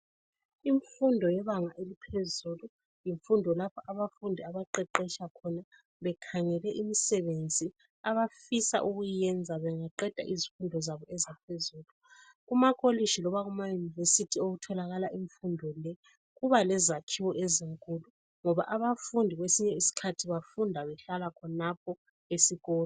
Imfundo yebanga eliphezulu yimfundo lapho abafundi abaqeqetsha khona bekhangele imisebenzi abafisa ukuyenza bengaqeda izifundo Kuba lezakhiwo ezinkulu ngoba abafundi kwesinye isikhathi bafunda behlala khonapho esikolo